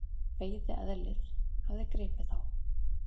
Veiðieðlið hafði gripið þá.